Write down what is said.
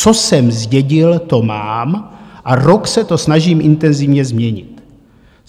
Co jsem zdědil, to mám a rok se to snažím intenzivně změnit.